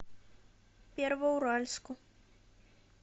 первоуральску